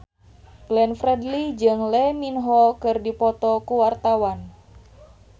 Glenn Fredly jeung Lee Min Ho keur dipoto ku wartawan